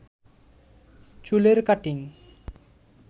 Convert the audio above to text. চুলের কাটিং